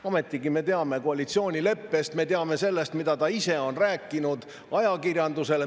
Ometigi me teame koalitsioonilepet, me teame seda, mida ta ise on rääkinud ajakirjandusele.